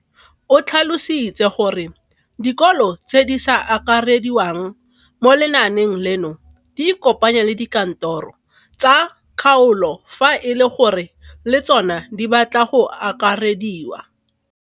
O tlhalositse gore dikolo tse di sa akarediwang mo lenaaneng leno di ikopanye le dikantoro tsa kgaolo fa e le gore le tsona di batla go akarediwa.